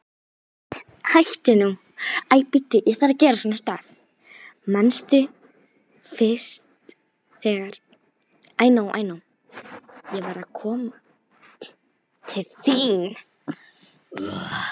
Manstu fyrst þegar ég var að koma til þín?